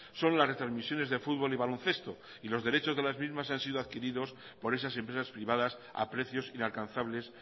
son las retrasmisiones de fútbol y baloncesto y los derechos de las mismas han sido adquiridos por esas empresas privadas a precios inalcanzables